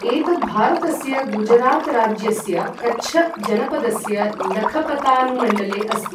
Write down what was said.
एतत् भारतस्य गुजरात राज्यस्य कच्छ जनपदस्य लखपतानुमण्डले अस्ति।